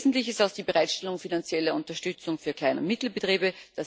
Wesentlich ist auch die Bereitstellung finanzieller Unterstützung für Klein und Mittelbetriebe.